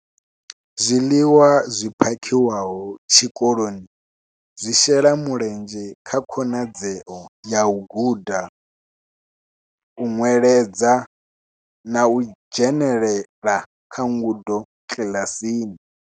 Zwiḽiwa zwi phakhiwaho tshikoloni zwi shela mulenzhe kha khonadzeo ya u guda, u nweledza na u dzhenela kha ngudo kiḽasini.